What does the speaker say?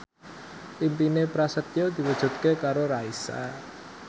impine Prasetyo diwujudke karo Raisa